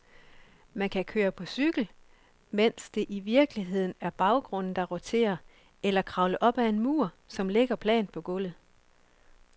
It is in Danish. Man kan køre på cykel, mens det i virkeligheden er baggrunden, der roterer, eller kravle op ad en mur, som ligger plant på gulvet.